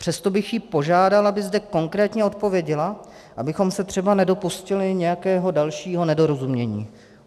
Přesto bych ji požádal, aby zde konkrétně odpověděla, abychom se třeba nedopustili nějakého dalšího nedorozumění.